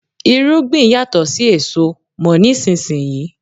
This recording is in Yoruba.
Irúgbìn yàtò sí èso, mò nísinsìnyí.